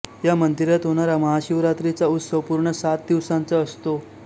या मंदिरात होणारा महाशिवरात्रीचा उत्सव पूर्ण सात दिवसांचा असतो